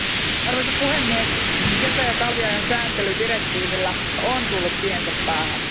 Arvoisa puhemies, kesä ja talviajan sääntely direktiivillä on tullut tiensä päähän.